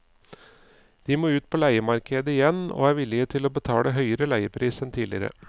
De må ut på leiemarkedet igjen og er villige til å betale høyere leiepris enn tidligere.